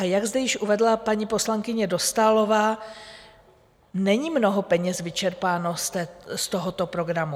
A jak zde již uvedla paní poslankyně Dostálová, není mnoho peněz vyčerpáno z tohoto programu.